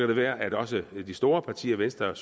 det være at også de store partier venstre